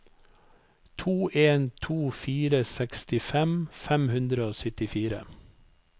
to en to fire sekstifem fem hundre og syttifire